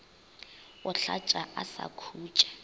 o hlatša a sa khutše